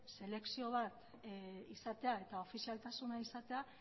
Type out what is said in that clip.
selekzio bat izatea eta ofizialtasuna izatea